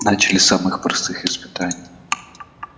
начали с самых простых испытаний